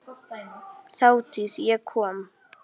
Þátíð- ég kom